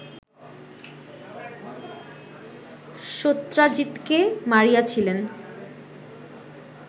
সত্রাজিতকে মারিয়াছিলেন